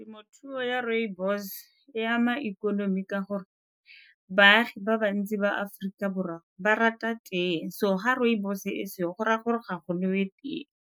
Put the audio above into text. Temothuo ya rooibos e ama ikonomi ka gore baagi ba bantsi ba Aforika Borwa ba rata tee, so ga rooibos e seyo go raya gore ga go nowe tee.